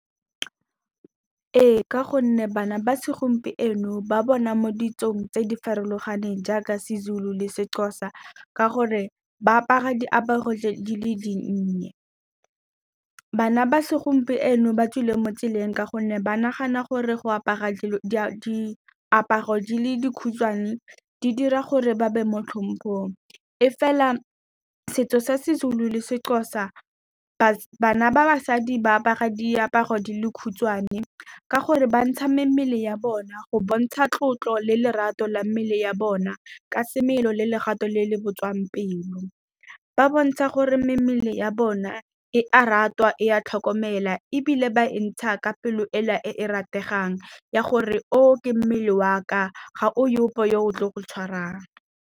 Ee, ka gonne bana ba segompieno ba bona mo ditsong tse di farologaneng, jaaka seZulu le seXhosa, ka gore ba apara diaparo tse di le dinnye. Bana ba segompieno ba tswile mo tseleng, ka gonne ba nagana gore go apara dilo diaparo di le di khutshwane, di dira gore ba be mo tlhompong. Mme fela setso sa seZulu, seXhosa bana ba basadi ba apara diaparo di le di khutshwane ka gore bantsha mmele ya bona, go bontsha tlotlo le lerato la mmele ya bona ka semelo le lerato le le botswapelo. Ba bontsha gore mmele ya bona e a ratwa, e a tlhokomelwa, ebile ba e e ntsha ka pelo e le e e rategang, ya gore o, ke mmele wa ka, ga go ope yo o tlileng go o tshwarang.